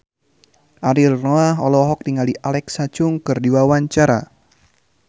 Ariel Noah olohok ningali Alexa Chung keur diwawancara